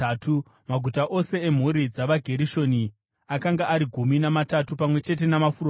Maguta ose emhuri dzavaGerishoni akanga ari gumi namatatu pamwe chete namafuro awo.